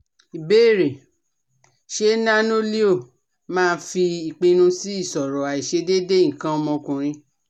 Ìbéèrè: Ṣé Nano-Leo máa fi ipinnu si iṣoro aiṣedeede ikan ọmọkunrin